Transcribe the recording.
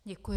Děkuji.